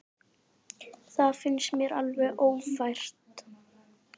Það finnst mér alveg ófært.